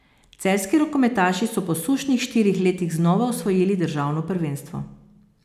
Celjski rokometaši so po sušnih štirih letih znova osvojili državno prvenstvo.